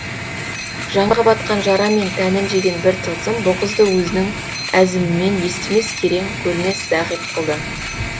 жанға батқан жара мен тәнін жеген бір тылсым бұ қызды өзінің әзімімен естімес керең көрмес зайғип қылды